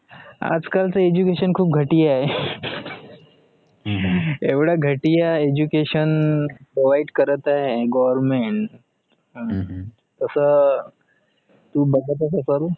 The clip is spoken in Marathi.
आजकालच education खूप घटीया ए एवढ्या घटिया educationprovide करत ए government तस तू बघतच असेल